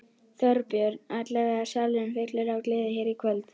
Þorbjörn: Allavega salurinn fullur af gleði hér í kvöld?